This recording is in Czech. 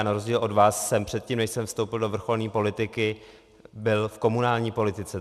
A na rozdíl od vás jsem předtím, než jsem vstoupil do vrcholné politiky, byl v komunální politice.